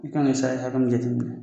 I ka nin hakɛ min ka jateminɛ bilen